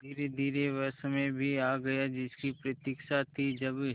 धीरेधीरे वह समय भी आ गया जिसकी प्रतिक्षा थी जब